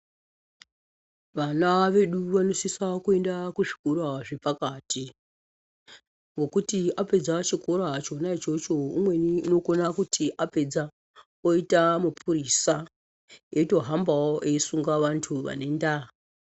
Vana vedu vanosisa kuenda kuzvikora zvepakati, ngokuti apedza chikora chona ichocho, umweni unokona kuti apedza oyita mupurisa, eyitohambawo eyisunga vantu vane ndaa.